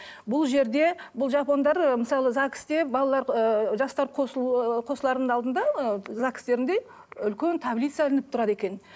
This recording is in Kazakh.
бұл жерде бұл жапондар ы мысалы загс те балалар ыыы жастар қосылу ы қосылардың алдында ы загс терінде үлкен таблица ілініп тұрады екен